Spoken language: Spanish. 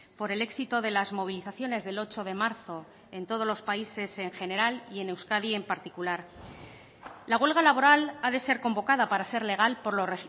por el éxito de las movilizaciones del ocho de marzo en todos los países en general y en euskadi en particular la huelga laboral ha de ser convocada para ser legal por los